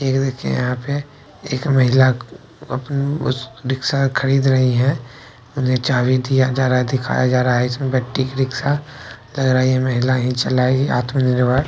ये देखिए यहाँ पे एक महिला अपने उस रिक्शा खरीद रही है। उन्हें चाबी दिया जा रहा है दिखाया जा रहा है। इसमें बैटरी रिक्शा लग रहा है ये महिला ही चलाएगी आत्मनिर्भर --